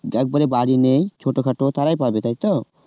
একবারে বাড়ি নেই ছোটখাটো তারাই পাবে তাই তো?